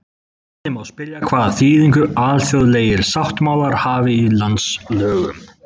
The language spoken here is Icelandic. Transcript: Þannig má spyrja hvaða þýðingu alþjóðlegir sáttmálar hafi í landslögum.